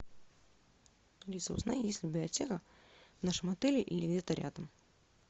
алиса узнай есть ли библиотека в нашем отеле или где то рядом